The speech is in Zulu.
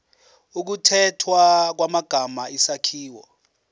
ukukhethwa kwamagama isakhiwo